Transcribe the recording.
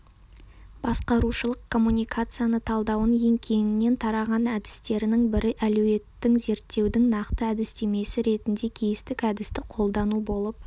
басқарушылық коммуникацияны талдаудың ең кеңінен тараған әдістерінің бірі әлеуетін зерттеудің нақты әдістемесі ретінде кейстік әдісті қолдану болып